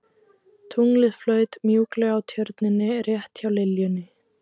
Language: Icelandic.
Tunglið flaut mjúklega á Tjörninni rétt hjá liljunni.